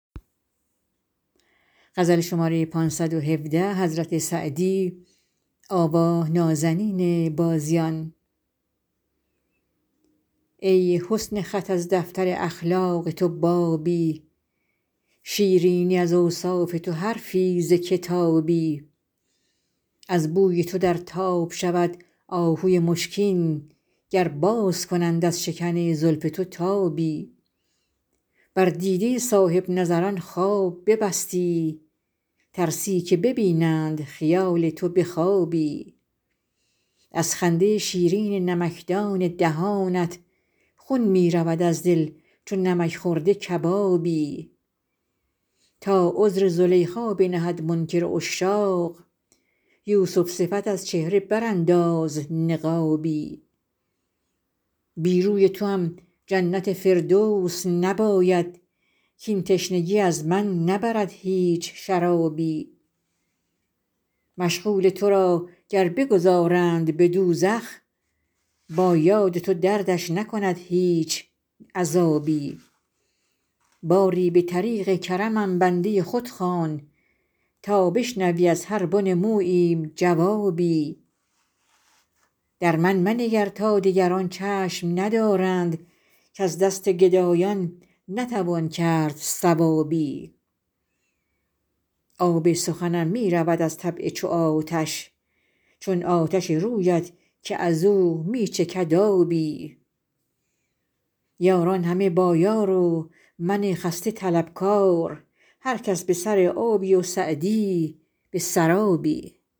ای حسن خط از دفتر اخلاق تو بابی شیرینی از اوصاف تو حرفی ز کتابی از بوی تو در تاب شود آهوی مشکین گر باز کنند از شکن زلف تو تابی بر دیده صاحب نظران خواب ببستی ترسی که ببینند خیال تو به خوابی از خنده شیرین نمکدان دهانت خون می رود از دل چو نمک خورده کبابی تا عذر زلیخا بنهد منکر عشاق یوسف صفت از چهره برانداز نقابی بی روی توام جنت فردوس نباید کاین تشنگی از من نبرد هیچ شرابی مشغول تو را گر بگذارند به دوزخ با یاد تو دردش نکند هیچ عذابی باری به طریق کرمم بنده خود خوان تا بشنوی از هر بن موییم جوابی در من منگر تا دگران چشم ندارند کز دست گدایان نتوان کرد ثوابی آب سخنم می رود از طبع چو آتش چون آتش رویت که از او می چکد آبی یاران همه با یار و من خسته طلبکار هر کس به سر آبی و سعدی به سرابی